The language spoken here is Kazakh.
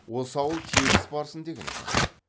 осы ауыл тегіс барсын деген екен